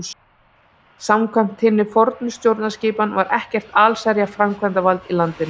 Samkvæmt hinni fornu stjórnskipan var ekkert allsherjar framkvæmdarvald í landinu.